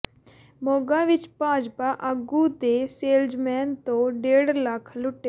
ਮੋਗਾ ਵਿੱਚ ਭਾਜਪਾ ਆਗੂ ਦੇ ਸੇਲਜ਼ਮੈਨ ਤੋਂ ਡੇਢ ਲੱਖ ਲੁੱਟੇ